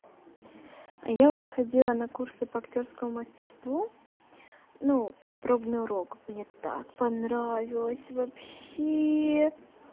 а я у вас ходила на курсы по актёрскому мастерству ну как пробный урок мне так понравилось вообще